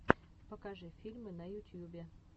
покажи фильмы на ютьюбе